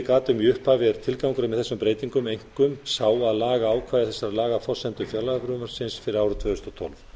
gat um í upphafi er tilgangurinn með þeim breytingum einkum sá að laga ákvæði þessara laga að forsendum fjárlagafrumvarpsins fyrir árið tvö þúsund og tólf